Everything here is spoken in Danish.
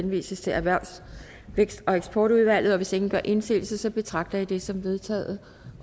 henvises til erhvervs vækst og eksportudvalget hvis ingen gør indsigelse betragter jeg det som vedtaget